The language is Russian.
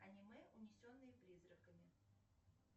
аниме унесенные призраками